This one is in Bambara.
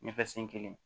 Ɲɛfɛ sen kelen